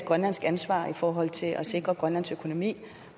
grønlandsk ansvar i forhold til at sikre grønlands økonomi